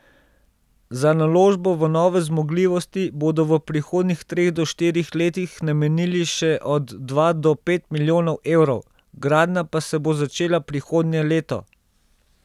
Za naložbo v nove zmogljivosti bodo v prihodnjih treh do štirih letih namenili še od dva do pet milijonov evrov, gradnja pa se bo začela prihodnje leto.